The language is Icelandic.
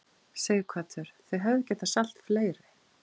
Sighvatur: Þið hefðuð getað selt fleiri?